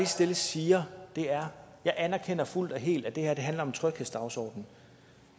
stille siger er jeg anerkender fuldt og helt at det her handler om tryghedsdagsordenen